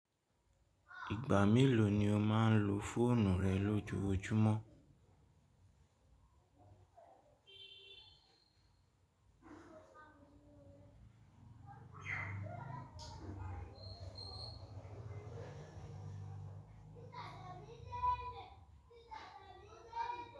Ìgbà mélòó ni o máa ń lo fóònù rẹ lójojúmọ́?